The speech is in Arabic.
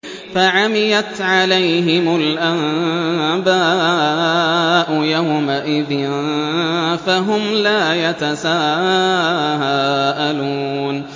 فَعَمِيَتْ عَلَيْهِمُ الْأَنبَاءُ يَوْمَئِذٍ فَهُمْ لَا يَتَسَاءَلُونَ